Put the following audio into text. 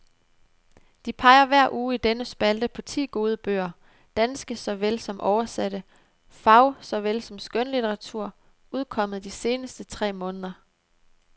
De peger hver uge i denne spalte på ti gode bøger, danske såvel som oversatte, fag- såvel som skønlitteratur, udkommet de seneste tre måneder.